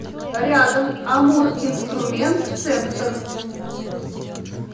рядом амуринструментцентр